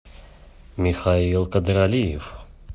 михаил кадралиев